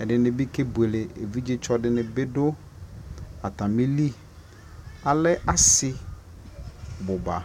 ɛdini bi kɛbʋɛlɛ, ɛvidzɛ tsɔ dini bi dʋ atamili, alɛ asii bʋba